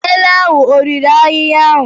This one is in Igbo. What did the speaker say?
Ele ahụ ọ riri ahịhịa ahụ?